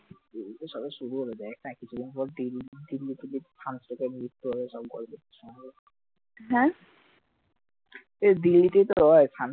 এ দিল্লিতেই তো হয়